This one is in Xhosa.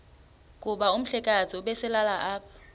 kuba umhlekazi ubeselelapha